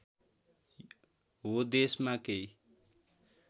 हो देशमा केही